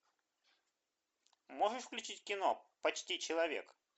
можешь включить кино почти человек